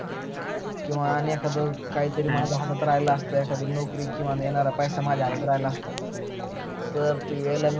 किवा एखाद काही तरी हातात राहील असत एखादी नौकरी किवा एनारा पैसा माझ्या हातात राहिला असता तर ते वेळ